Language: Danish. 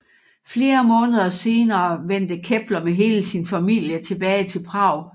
Flere måneder senere vendte Kepler med hele sin familie tilbage til Prag